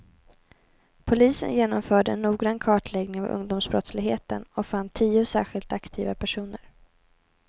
Polisen genomförde en noggrann kartläggning av ungdomsbrottsligheten och fann tio särskilt aktiva personer.